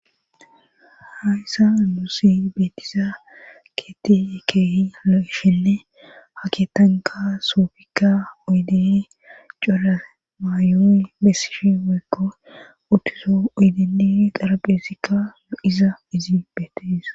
Ha issa anusi beetiza keetikeehi lo7ishenne ha ketanka soofikka oydeni cola maayoy bessishi weekko uttuzo oydeii xarabhesikka no7iza izi beetesa.